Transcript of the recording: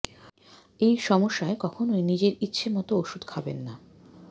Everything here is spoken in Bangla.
এই সমস্যায় কখনোই নিজের ইচ্ছে মত ওষুধ খাবেন না